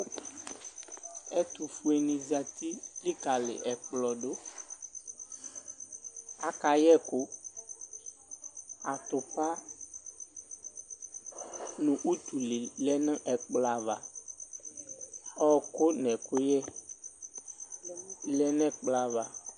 Ɛtʋfue ni zati likali ɛkplɔ dʋ akayɛ ɛkʋ atupa nʋ utule lɛnʋ ɛkplɔ ava ɔkʋ nʋ ɛkʋyɛ lɛnʋ ɛkplɔ ava